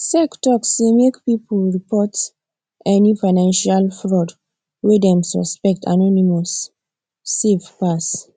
sec talk say make people report any financial fraud wey dem suspect anonymous safe pass